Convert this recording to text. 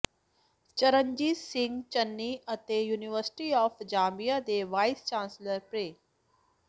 ਚਰਨਜੀਤ ਸਿੰਘ ਚੰਨੀ ਅਤੇ university of Zambia ਦੇ vice chancellor pro